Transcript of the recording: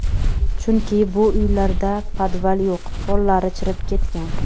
Chunki, bu uylarda podval yo‘q, pollari chirib ketgan.